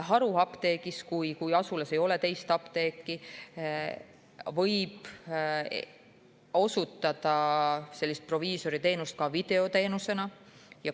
Haruapteegis, kui asulas ei ole teist apteeki, võib osutada proviisoriteenust ka videoteenusena.